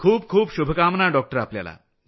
खूप खूप शुभकामना डॉक्टर आपल्याला